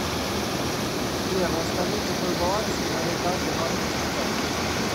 сбер расскажи какой баланс на моей каждой банковской карте